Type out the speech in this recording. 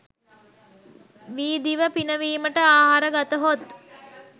වී දිව පිනවීමට ආහාර ගතහොත්